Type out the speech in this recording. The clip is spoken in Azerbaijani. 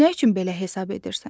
Nə üçün belə hesab edirsən?